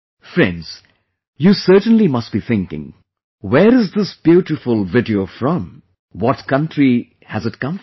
Friends, you certainly must be thinking... where is this beautiful video from; what country has it come from